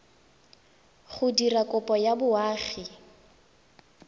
go dira kopo ya boagi